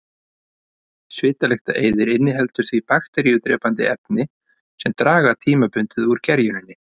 Svitalyktareyðir inniheldur því bakteríudrepandi efni sem draga tímabundið úr gerjuninni.